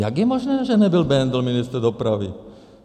Jak je možné, že nebyl Bendl ministr dopravy?